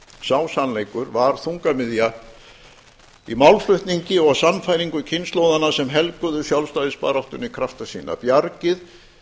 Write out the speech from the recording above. sá sannleikur var þungamiðja í málflutningi og sannfæringu kynslóðanna sem helguðu sjálfstæðisbaráttunni krafta sína bjargið